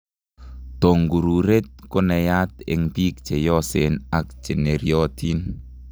Tongururet ko naiyat eng biik cheyosen ak cheneryotin